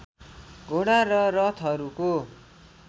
घोडा र रथहरूको